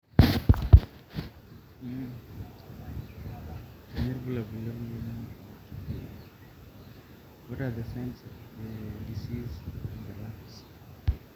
kanyio irbulabul le moyian oorkipeu